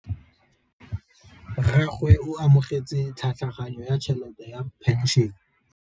Rragwe o amogetse tlhatlhaganyô ya tšhelête ya phenšene.